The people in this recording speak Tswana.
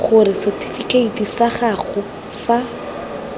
gore setifikeiti sa gago sa